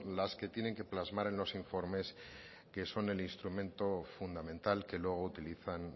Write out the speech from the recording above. las que tienen que plasmar en los informes que son el instrumento fundamental que luego utilizan